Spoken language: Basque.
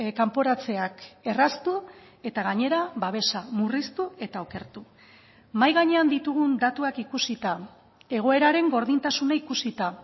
kanporatzeak erraztu eta gainera babesa murriztu eta okertu mahai gainean ditugun datuak ikusita egoeraren gordintasuna ikusita